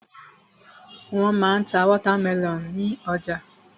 Wọ́n ma ń ta wọ́támẹlọ̀n ní ọjà.